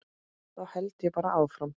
Þá held ég bara áfram.